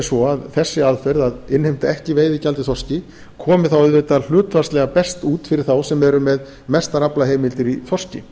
svo að þessi aðferð að innheimta ekki veiðigjald í þorski komi þá auðvitað hlutfallslega best út fyrir þá sem eru með mestar aflaheimildir í þorski